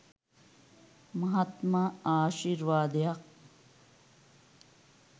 මහත්ම ආශි්ර්වාදයක්.